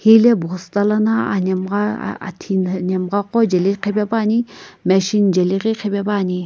hile bhosta lana anhemgha ah a athi nhemgha qo jeli qhipepuani machine jeli ghi qhipepuani.